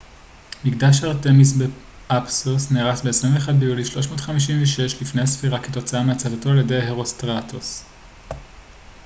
"מקדש ארטמיס באפסוס נהרס ב־21 ביולי 356 לפנה""ס כתוצאה מהצתתו על ידי הרוסטראטוס.